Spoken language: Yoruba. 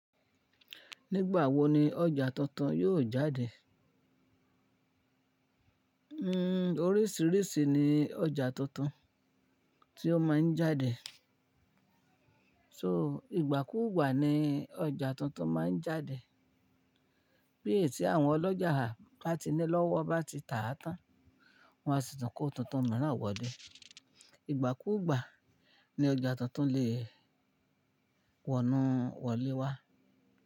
Nígbà wo ni ọjà tuntun yóò jáde? Oríṣìíríṣìí ni ọjà tuntun tí ó máa ń jáde. So ìgbàkúùgbà ni ọjà tuntun máa ń jáde. Bí ètè àwọn ọlọ́jà láti nílọ́wọ́ bá ti tà á tán, wọn a sì tún kó tuntun mìíràn wọlé. Ìgbàkúùgbà ni ọjà tuntun lè wọ́nù wọlé wá.